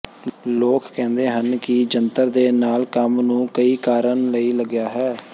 ਲੋਕ ਕਹਿੰਦੇ ਹਨ ਕਿ ਜੰਤਰ ਦੇ ਨਾਲ ਕੰਮ ਨੂੰ ਕਈ ਕਾਰਨ ਲਈ ਲਗਿਆ ਹੈ